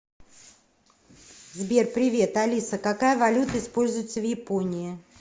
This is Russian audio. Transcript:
сбер привет алиса какая валюта используется в японии